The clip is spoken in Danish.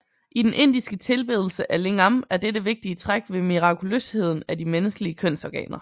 I den indiske tilbedelse af lingam er dette vigtige træk ved mirakuløsheden af de menneskelige kønsorganer